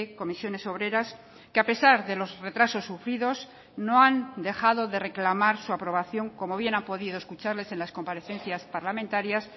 ccoo que a pesar de los retrasos sufridos no han dejado de reclamar su aprobación como bien han podido escucharles en las comparecencias parlamentarias